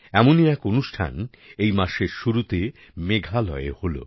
এমনই এক অনুষ্ঠান এই মাসের শুরুতে মেঘালয়ে হল